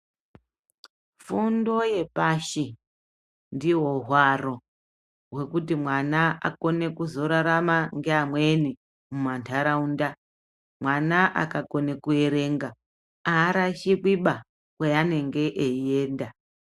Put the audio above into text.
Fundo yepashi ndihwo hwaro hwekuti mwana akone kuzorarama ngeamweni mumantaraunda. Mwana akakone kuerenga haarashikwiba kweanenge eienda.